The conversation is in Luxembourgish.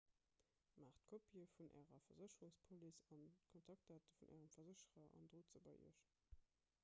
maacht kopië vun ärer versécherungspolice an de kontaktdate vun ärem versécherer an drot se bei iech